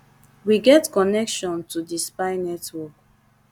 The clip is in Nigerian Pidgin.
wey get connection to di spy network